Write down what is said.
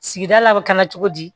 Sigida la a bɛ k'an na cogo di